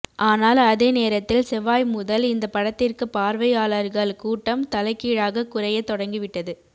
ஆனால் அதே நேரத்தில் செவ்வாய் முதல் இந்த படத்திற்கு பார்வையாளர்கள் கூட்டம் தலைகீழாக குறையத் தொடங்கிவிட்டது